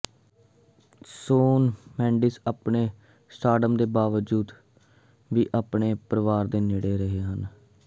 shown Mendes ਆਪਣੇ stardom ਦੇ ਬਾਵਜੂਦ ਵੀ ਆਪਣੇ ਪਰਿਵਾਰ ਦੇ ਨੇੜੇ ਰਹੇ ਹਨ